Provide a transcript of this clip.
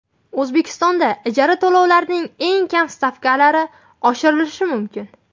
O‘zbekistonda ijara to‘lovlarining eng kam stavkalari oshirilishi mumkin.